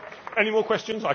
Any more questions?